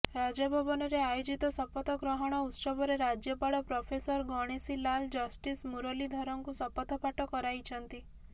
ରାଜଭବନରେ ଆୟୋଜିତ ଶପଥ ଗ୍ରହଣ ଉତ୍ସବରେ ରାଜ୍ୟପାଳ ପ୍ରଫେସର ଗଣେଶୀ ଲାଲ ଜଷ୍ଟିସ୍ ମୁରଲୀଧରଙ୍କୁ ଶପଥ ପାଠ କରାଇଛନ୍ତି